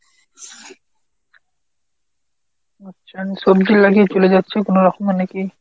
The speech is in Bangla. আচ্ছা সবজি লাগিয়ে চলে যাচ্ছে কোনো রকমে নাকি?